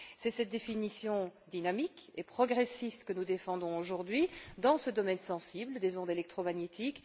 C'est cette définition dynamique et progressiste que nous défendons aujourd'hui dans ce domaine sensible des ondes électromagnétiques.